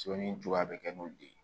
Soni juba bɛ kɛ n'olu de ye